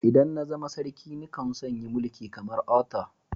ldan na zama sarki ni kan so'n yi Mulki kamar Arthur.